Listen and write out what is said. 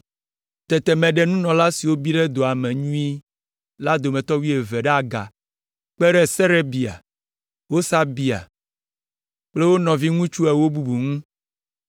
Tete meɖe nunɔla siwo bi ɖe dɔa me nyuie la dometɔ wuieve ɖe aga kpe ɖe Serebia, Hasabia kple wo nɔviŋutsu ewo bubuwo ŋu.